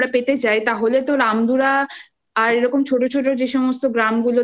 তো রামধুলা আর এরকম ছোট ছোট যে সমস্ত গ্রামগুলো